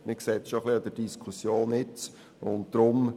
Das sieht man eine Stück weit bereits an der aktuellen Diskussion.